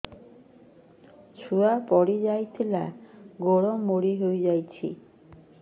ଛୁଆ ପଡିଯାଇଥିଲା ଗୋଡ ମୋଡ଼ି ହୋଇଯାଇଛି